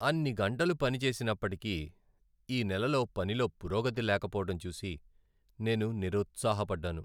అన్ని గంటలు పనిచేసినప్పటికీ ఈ నెలలో పనిలో పురోగతి లేకపోవడం చూసి నేను నిరుత్సాహపడ్డాను.